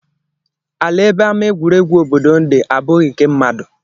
Ala ebe ama egwuregwu obodo dị abụghị nke mmadụ